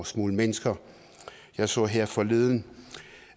smugle mennesker jeg så her forleden